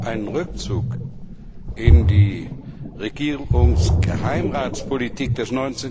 Einen Rückzug in die Regierungsgeheimratspolitik des